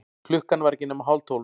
Klukkan var ekki nema hálftólf.